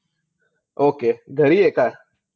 Okay. घरी आहे का?